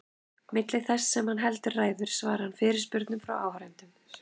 Milli þess sem hann heldur ræður svarar hann fyrirspurnum frá áheyrendum.